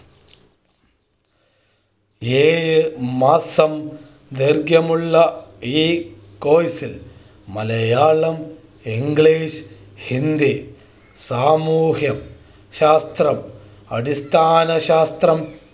ഏഴ് മാസം ദൈർഘ്യമുള്ള ഈ Course മലയാളം ഇംഗ്ലീഷ് ഹിന്ദി സാമൂഹിക ശാസ്‌ത്രം അടിസ്ഥാന ശാസ്‌ത്രം